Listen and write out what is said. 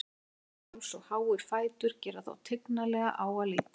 Langur háls og háir fætur gera þá tignarlega á að líta.